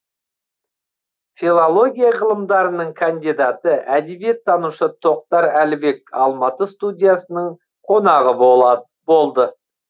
филология ғылымдарының кандидаты әдебиеттанушы тоқтар әлібек алматы студиясының қонағы болады болды